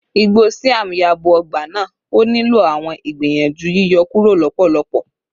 igbo siam yabo ọgba naa, o nilo awọn igbiyanju yiyọ kuro lọpọlọpọ